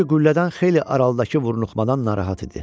Çünki qüllədən xeyli aralıdakı vurnuxmadan narahat idi.